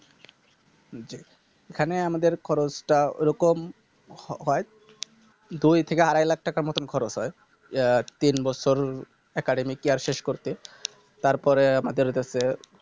এখানে আমাদের খরচটা ওরকম হ~ হয় দুই থেকে আড়াই Lakh টাকার মতো খরচ হয় আহ তিন বছর Academy Care শেষ করতে তারপর আমাদের হইতাছে